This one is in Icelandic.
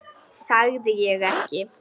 Sagði ég ekki?